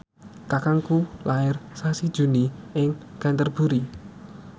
kakangku lair sasi Juni ing Canterbury